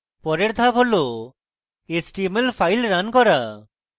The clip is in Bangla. পরের ধাপ হল html file রান করা